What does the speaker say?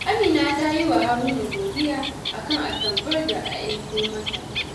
Amina ta yi wa Haruna godiya a kan atamfar da ya aiko mata